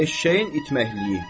Eşşəyin itməkliyi.